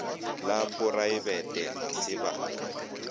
la poraebete ga se ba